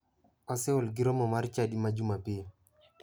Waseol gi romo mar chadi ma jumapil.